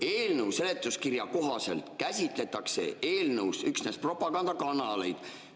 Eelnõu seletuskirja kohaselt käsitletakse eelnõus üksnes propaganda telekanaleid.